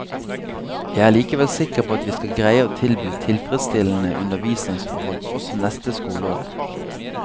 Jeg er likevel sikker på at vi skal greie å tilby tilfredsstillende undervisningsforhold også neste skoleår.